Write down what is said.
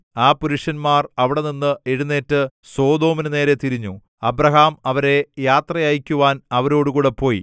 ആ പുരുഷന്മാർ അവിടെനിന്നു എഴുന്നേറ്റ് സൊദോമിനു നേരേ തിരിഞ്ഞു അബ്രാഹാം അവരെ യാത്ര അയയ്ക്കുവാൻ അവരോടുകൂടെ പോയി